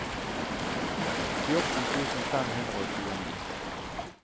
fjorten tusen fem hundre og tjueni